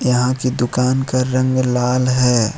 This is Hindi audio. यहां की दुकान का रंग लाल है।